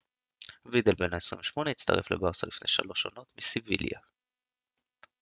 וידל בן ה 28 הצטרף לברסה לפני שלוש עונות מסביליה